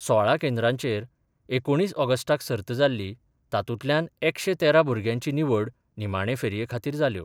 सोळा केंद्राचेर एकुणीस ऑगस्टाक सर्त जाल्ली तातूंतल्यान एकशे तेरा भुरग्यांची निवड निमाणे फेरये खातीर जाल्यो.